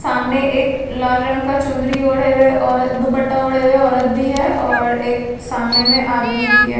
सामने एक लाल रंग का चुंदरी ओढ़े हुए औरत दुपट्टा ओढ़े हुए औरत भी है और एक सामने में आदमी भी है।